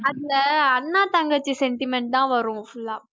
அதுல அண்ணன் தங்கச்சி centiment தான் வரும் full ஆ